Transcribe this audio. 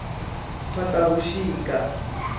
khotavuxika